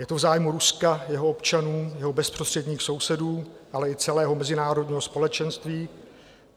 Je to v zájmu Ruska, jeho občanů, jeho bezprostředních sousedů, ale i celého mezinárodního společenství.